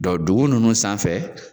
dugu ninnu sanfɛ.